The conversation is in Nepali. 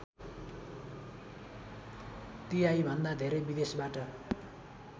तिहाईभन्दा धेरै विदेशबाट